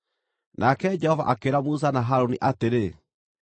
Nake Jehova akĩĩra Musa na Harũni atĩrĩ,